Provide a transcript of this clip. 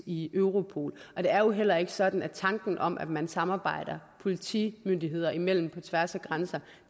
i europol det er jo heller ikke sådan at tanken om at man samarbejder politimyndigheder imellem på tværs af grænser